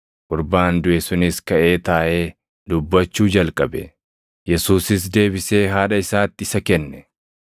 Gurbaan duʼe sunis kaʼee taaʼee dubbachuu jalqabe; Yesuusis deebisee haadha isaatti isa kenne.